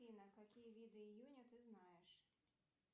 афина какие виды июня ты знаешь